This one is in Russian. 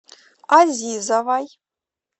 азизовой